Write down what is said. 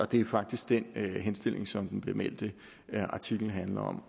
det er faktisk den henstilling som den bemeldte artikel handler om